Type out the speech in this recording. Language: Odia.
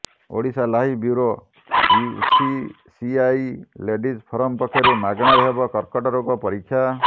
Odisha live bureau UCCI ladies forum ପକ୍ଷରୁ ମାଗଣାରେ ହେବ କର୍କଟ ରୋଗ ପରୀକ୍ଷା